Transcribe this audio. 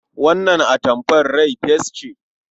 Wannan atamfar rai fes ce.